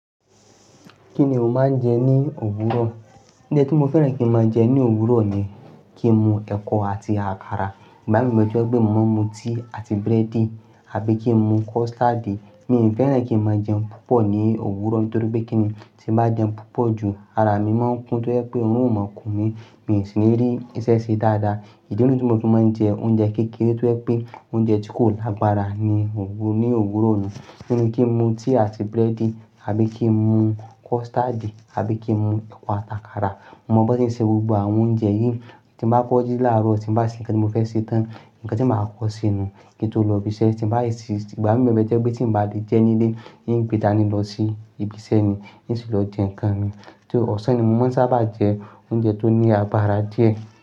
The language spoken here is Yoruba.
Kí ni o máa ń jẹ ní òwúrọ̀? Oúnjẹ tí mo fẹ́ràn kí n máa jẹ ní òwúrọ̀ ni kí n mu ẹ̀kọ àti àkàrà. Ìgbà mí o jọ gbé mo máa n mu tíì àti búrẹ́dì àbí kí n mu custard. Mi ò fẹ́ràn kí n máa jẹun púpọ̀ ní òwúrọ̀ nítorí pé kíni tí bá jẹun púpọ̀ ju, ara mi máa ń kún tó jẹ́ pé òorun o máa kùn mí, mi ò sì le rí iṣẹ́ se dáadáa. Ìdílé niyi ti mọ fi máa ń jẹ oúnjẹ kékeré tó jẹ́ pé oúnjẹ tí kò lágbára ní òwú-- ní òwúrọ̀ nù. Bí kí n mu tíì àti búrẹ́dì àbí kí n mu custard àbí kí n mu ẹ̀kọ àti àkàrà. Mo mọ bí won ṣe n ṣe gbogbo àwọn oúnjẹ yìí. Tí n bá kọ́ jí láàárọ̀, tí bá se nkán tí mo fẹ́ ṣe tán, nkán tí màá kọ́ ṣe nu kí n tó lọ ibi iṣẹ́. Tí bá ì sì ti, ìgbà mí o le je pé tí n bá le jẹ́ nílé, hín gbe dani lọ sí ibi iṣẹ́ ni, hín sì lọ jẹ́ nkán mi. Tó oṣan ni mo mọ̀ n sábá jẹ oúnjẹ tó ní agbára díẹ̀